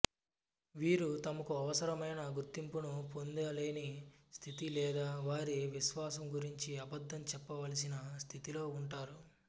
వీరు తమకు అవసరమైన గుర్తింపును పొందలేని స్థితి లేదా వారి విశ్వాసం గురించి అబద్ధం చెప్పవలసిన స్థితిలో ఉంటారు